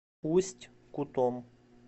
усть кутом